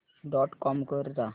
dot com वर जा